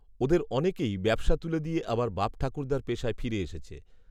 ওদের অনেকেই ব্যবসা তুলে দিয়ে আবার বাপঠাকুর্দার পেশায় ফিরে এসেছে